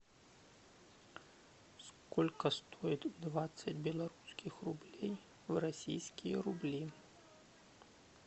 сколько стоит двадцать белорусских рублей в российские рубли